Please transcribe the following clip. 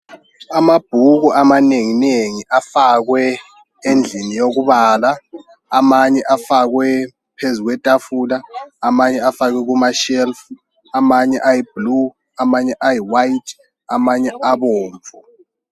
Amabhuku amanengi nengi afakwe endlini yokubala amanye afakwe phezu kwetafula amanye afakwe kumashelufu amanye ayibhulu amanye ayiwayiti amanye abomvu.